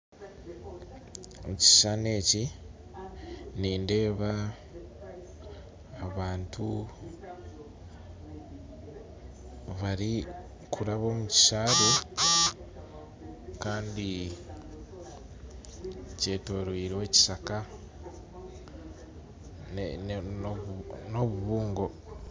Ekishushanii eki nindeeba abantu barikuraba omukishabe kandi kyetorirwe ekishaka n'obubungo.